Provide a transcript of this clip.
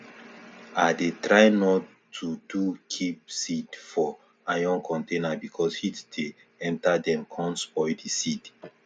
i dey try nor to do keep seed for iron container because heat dey enter dem com spoil di seed